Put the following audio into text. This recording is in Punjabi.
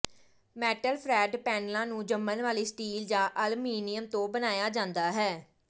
ਮੈਟਲ ਫਰੈੱਡ ਪੈਨਲਾਂ ਨੂੰ ਜੰਮਣ ਵਾਲੀ ਸਟੀਲ ਜਾਂ ਅਲਮੀਨੀਅਮ ਤੋਂ ਬਣਾਇਆ ਜਾਂਦਾ ਹੈ